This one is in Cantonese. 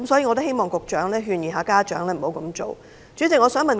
我希望局長可勸諭家長，請他們不要這樣做。